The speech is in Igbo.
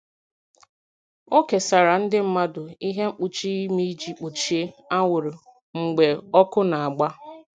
O kesara ndị mmadụ ihe mkpuchi imi iji gbochie anwụrụ mgbe ọkụ na-agba.